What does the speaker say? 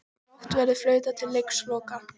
Brátt verður flautað til leiksloka